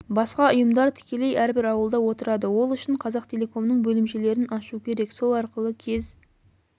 басқа ұйымдар тікелей әрбір ауылда отырады ол үшін қазақтелекомның бөлімшелерін ашу керек сол арқылы кез